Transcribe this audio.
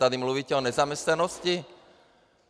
Tady mluvíte o nezaměstnanosti?